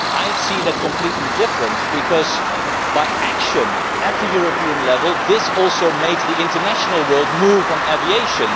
I see that completely differently because, by action at the European level, this also made the international world move on aviation.